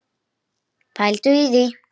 Pældu í því.